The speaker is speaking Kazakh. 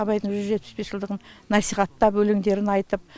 абайдың жүз жетпіс бес жылдығын насихаттап өлеңдерін айтып